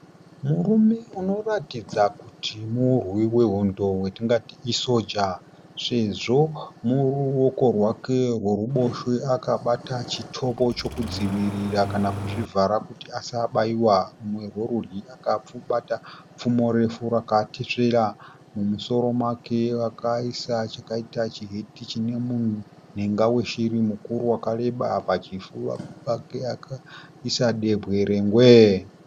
Murume unoratidza kuti murwi wehondo watingati isoja sezvo mune ruoko rwake rworuboshwe akabata chitobo chekudzivirira kana kuzvivhara kuti asabaiwa. Rumwe rwerudyi akabata pfumo refu rakatesvera. Mumusoro make akaisa chakaita chiheti chine munhenga weshiri mukuru wakareba pachifuva pake akaisa dehwe rengwee.